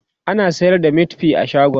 ana sayar da meatfie a shagon?